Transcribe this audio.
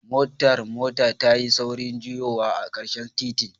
Motar motar tayi saurin juyowa a karshen titin.